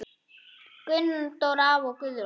Gunndór afi og Guðrún.